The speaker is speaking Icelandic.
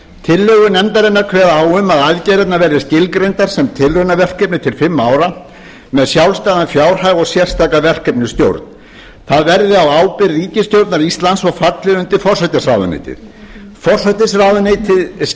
tillögur nefndarinnar kveða á um að aðgerðirnar verði skilgreindar sem tilraunaverkefni tl fimm ára með sjálfstæðan fjárhag og sérstaka verkefnisstjórn það verði á ábyrgð ríkisstjórnar íslands og falli undir forsætisráðuneytið forsætisráðuneytið